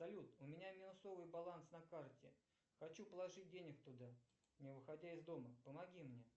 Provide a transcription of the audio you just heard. салют у меня минусовый баланс на карте хочу положить денег туда не выходя из дома помоги мне